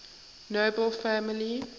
nobel family